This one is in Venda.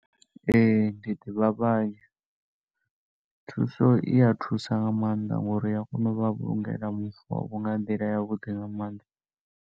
Ee, ndi ḓivha vhanzhi, thuso i ya thusa nga maanḓa ngouri i ya kona u vha vhulungela mufu wavho nga nḓila ya vhuḓi nga maanḓa.